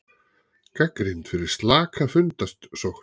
Gagnrýnd fyrir slaka fundasókn